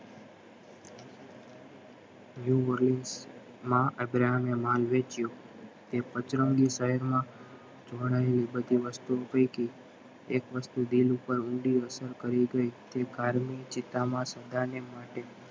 અબ્રાહમે માલ વેચ્યો તે પચરંગી શહેરમાં બધી વસ્તુ એક વસ્તુ દિલ ઉપર ઊંડી અસર કરી ગઈ માટે